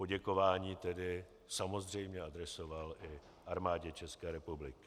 Poděkování tedy samozřejmě adresoval i Armádě České republiky.